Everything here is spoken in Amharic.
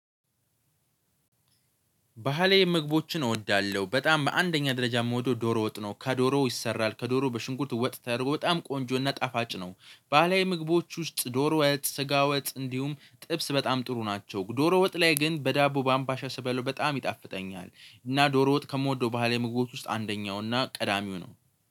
ባህላዊ ምግቦችን እወዳለሁ በጣም በአንደኛ ደረጃ የምወደው ዶሮ ወጥ ነው ከዶሮው ይሰራል ከዶሮው በሽንኩርት ወጥ ተደርጎ በጣም ቆንጆ እና ጣፋጭ ነው። ባህላዊ ምግቦች ውስጥ ዶሮ ወጥ ስጋ ወጥ እንዲሁም ጥብስ በጣም ጥሩ ናቸው። ዶሮ ወጥ ላይ ግን በዳቦ በአምባሻ ስበላው በጣም ይጣፍጠኛል። እና ዶሮ ወጥ ከምወደው ባህል ምግቦች ውስጥ አንደኛው እና ቀዳሚው ነው